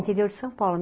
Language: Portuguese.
Interior de São Paulo.